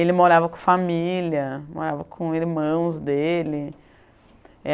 Ele morava com família, morava com irmãos dele.